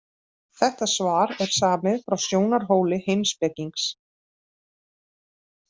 Þetta svar er samið frá sjónarhóli heimspekings.